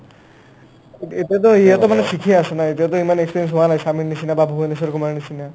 এ ~ এতিয়াটো ইয়াতে মানে ছিখি আছো ন এতিয়াতে ইমান experience হোৱা নাই ছামীৰ নিচিনা বা ভুবনেশ্বৰ কুমাৰৰ নিচিনা